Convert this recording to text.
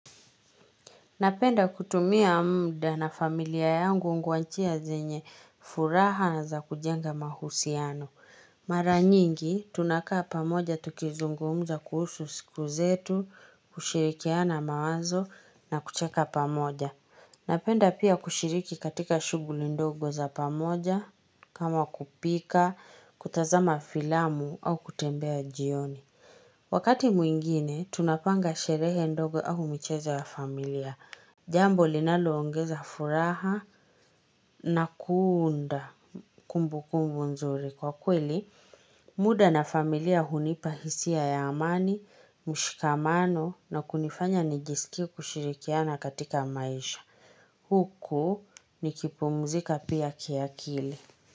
Napenda kutumia mda na familia yangu ngwanchia zenye furaha na za kujenga mahusiano. Mara nyingi, tunakaa pamoja tukizungumza kuhusu siku zetu, kushirikiana mawazo na kucheka pamoja. Napenda pia kushiriki katika shuguli ndogo za pamoja, kama kupika, kutazama filamu au kutembea jioni. Wakati mwingine, tunapanga sherehe ndogo ahumichezo ya familia. Jambo linaloongeza furaha na kuunda kumbu kumbu nzuri. Kwa kweli muda na familia hunipa hisia ya amani mshikamano na kunifanya nijiskie kushirikiana katika maisha. Huku nikipumzika pia kiakili.